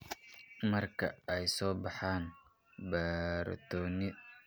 Marka ay soo baxaan, borotiinada prion-ka ee aan caadiga ahayn ayaa isu geynaya, ama isku urursada.